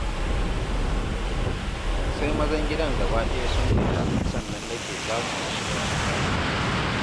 Sai mazan gidan gabaɗaya sun fita, sannan nake samu na shiga wanka